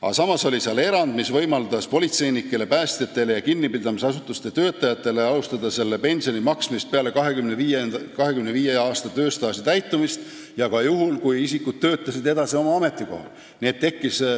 Aga samas on seal erand, mis võimaldab politseinikele, päästjatele ja kinnipidamisasutuste töötajatele alustada selle pensioni maksmist peale seda, kui neil saab täis 25 aastat tööstaaži ja nad töötavad oma ametikohal edasi.